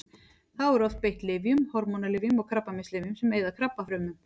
Þá er oft beitt lyfjum: hormónalyfjum og krabbameinslyfjum sem eyða krabbafrumum.